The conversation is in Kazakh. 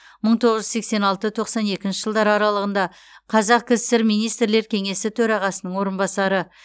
мың тоғыз жүз сексен алты тоқсан екінші жылдар аралығында қазақ кср министрлер кеңесі төрағасының орынбасары